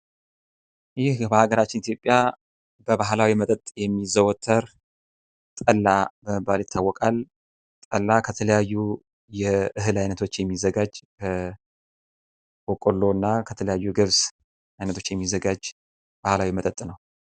ይህ በሃገራችን ኢትዮጵያ በባህላዊ መጠጥ የሚዘወተር ጠላ በመባል ይታወቃል። ጠላ ከተለያዩ የእህል አይነቶች የሚዘጋጅ ከበቆሎ እና ከገብስ አይነቶች የሚዘጋጅ ባህላዊ መጠጥ ነው።